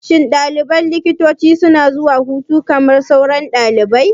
Shin ɗaliban likitanci suna zuwa hutu kamar sauran ɗalibai?